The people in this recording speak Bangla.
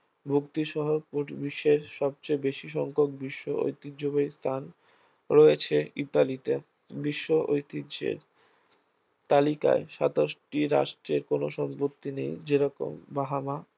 মুক্তিসহ বিশ্বের সবচেয়ে বেশি সংখ্যক বিশ্ব ঐতিহ্যবাহী স্থান রয়েছে ইতালিতে বিশ্ব ঐতিহ্যের তালিকায় সাতাশটি রাষ্ট্রের কোন সম্পত্তি নেই যেরকম বাহামা